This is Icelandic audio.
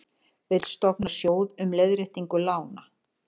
Vill stofna sjóð um leiðréttingu lána